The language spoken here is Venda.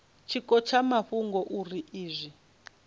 tshiko tsha mafhungo uri izwi